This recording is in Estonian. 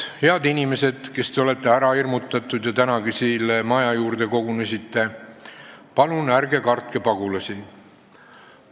Head inimesed, kes te olete ära hirmutatud ja tänagi siia maja juurde kogunesite, palun ärge kartke pagulasi!